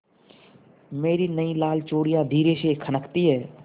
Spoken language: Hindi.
मेरी नयी लाल चूड़ियाँ धीरे से खनकती हैं